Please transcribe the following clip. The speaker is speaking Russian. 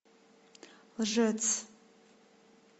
лжец